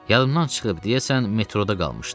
Yadımdan çıxıb, deyəsən metroda qalmışdı.